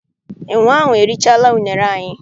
Enwe ahụ erichaala unere anyị.